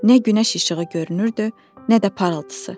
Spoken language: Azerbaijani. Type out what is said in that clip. Nə günəş işığı görünürdü, nə də parıltısı.